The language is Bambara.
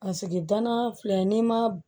A sigi danaya filɛ n'i ma